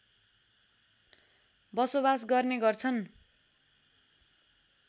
बसोबास गर्ने गर्छन्